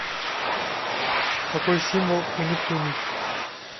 какой символ у нептуний